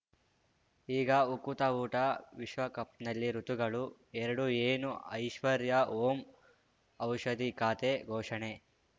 ಈಗ ಉಕುತ ಊಟ ವಿಶ್ವಕಪ್‌ನಲ್ಲಿ ಋತುಗಳು ಎರಡು ಏನು ಐಶ್ವರ್ಯಾ ಓಂ ಔಷಧಿ ಖಾತೆ ಘೋಷಣೆ